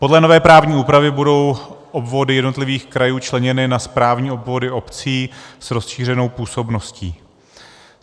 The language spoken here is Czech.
Podle nové právní úpravy budou obvody jednotlivých krajů členěny na správní obvody obcí s rozšířenou působností.